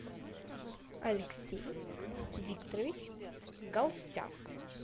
алексей викторович галстян